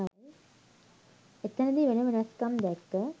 එතනදි වෙන වෙනස්කම් දැක්ක